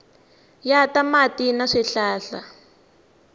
ya ta mati na swihlahla